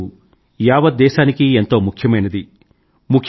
ఈ రోజు యావత్ దేశానికీ ఎంతో ముఖ్యమైనది